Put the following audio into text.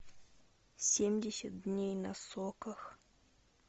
семьдесят дней на соках